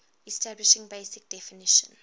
establishing basic definition